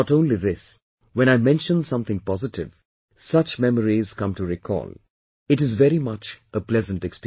And not only this, when I mention something positive, such memories come to recall, it is very much a pleasant experience